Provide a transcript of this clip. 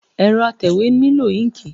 Ẹrọ atẹwe n lo inki